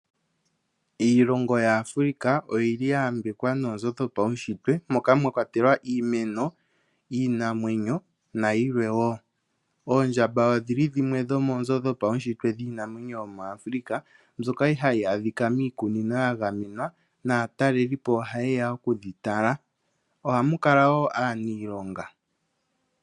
Iilongo yaAfrika oyili ya yambekwa noonzo dhopaunshitwe moka mwa kwatelwa iimeno, iinamwenyo nayilwe wo. Oondjamba odhili dhimwe dhomoonzo dhopaunshitwe dhiinamwenyo muAfrika, mbyoka hayi adhika miikunino ya gamenwa naataleli po ohaye ya oku dhi tala. Ohamu kala wo aaniilonga.